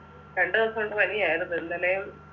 രണ്ടു ദിവസം ഉണ്ട് പനിയായിരുന്നു ഇന്നലേം